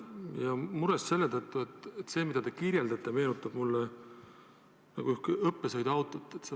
Ja seda selle tõttu, et see, mida te kirjeldate, meenutab õppesõiduautot.